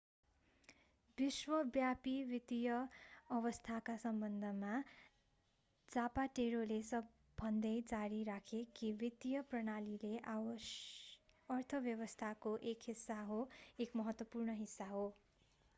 विश्वव्यापी वित्तीय अवस्थाका सम्बन्धमा जापाटेरोले भन्दै जारी राखे कि वित्तीय प्रणाली अर्थव्यवस्थाको एक हिस्सा हो एक महत्त्वपूर्ण हिस्सा हो